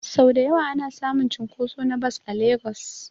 Sau dayawa ana samun cunkoso na bas a legas